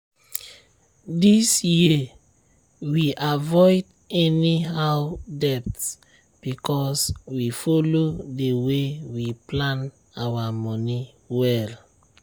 this year we avoid any how debt because we follow the way we plan our money well.